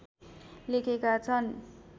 लेखेका छन्